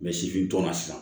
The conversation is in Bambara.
sifintɔ la sisan